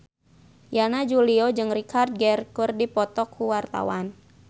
Yana Julio jeung Richard Gere keur dipoto ku wartawan